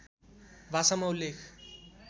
भाषामा उल्लेख